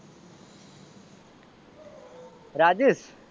Rajesh